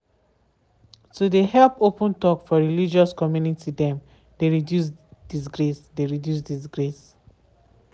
to de help open talk for religious communty dem de reduce digrace. de reduce digrace.